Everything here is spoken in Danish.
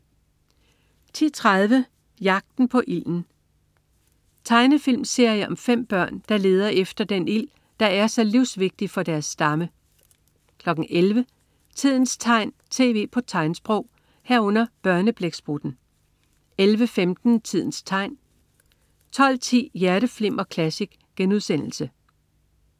10.30 Jagten på ilden. Tegnefilmserie om 5 børn, der leder efter den ild, der er så livsvigtig for deres stamme 11.00 Tidens tegn, tv på tegnsprog 11.00 Børneblæksprutten 11.15 Tidens tegn 12.10 Hjerteflimmer Classic*